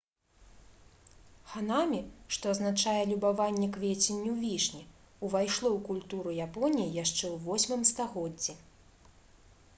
«ханамі» што азначае любаванне квеценню вішні увайшло ў культуру японіі яшчэ ў 8 стагоддзі